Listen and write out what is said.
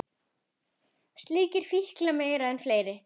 Slíkir fíklar mega vera fleiri.